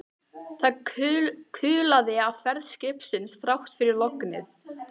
Það kulaði af ferð skipsins þrátt fyrir lognið.